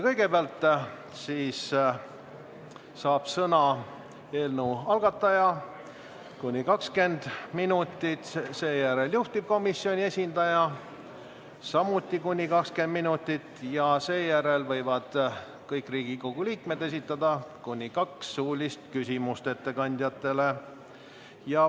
Kõigepealt saab sõna eelnõu algataja, kuni 20 minutit, seejärel juhtivkomisjoni esindaja, samuti kuni 20 minutit, ja siis võivad kõik Riigikogu liikmed esitada ettekandjatele kuni kaks suulist küsimust.